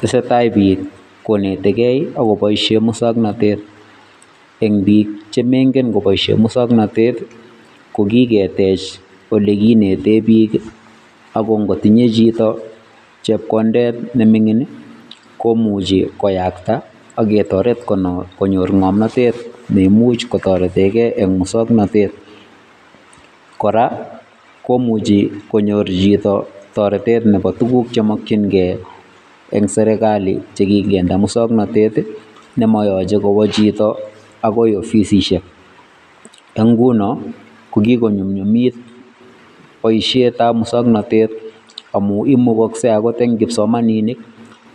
Teseatai biik konetikei ako poishen muswoknatet, eng biik chemaingen kopoishe muswoknatet ko kiketech ole kinetee biik ako kotinyei chito chepkondet ne mining komuchi koyakta aketoret konyor ngomnatet ne imuchi kotoretekei eng muswoknatet, kora komuchi konyor chito toretet nebo tuguk che makchinkei eng sirikali che kikinde muswoknatet nemayoche kowa chito akoi ofisisiek. Eng nguno ko kikonyumnyumit boisietab muswoknatet amun imukakasei akot eng kipsomaninik